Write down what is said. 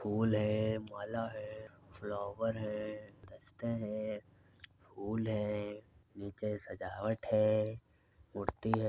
फ़ूल है माला हैफ्लावर है गुलदस्ते है फ़ूल हैनिचे सजावट है मूर्ति है ।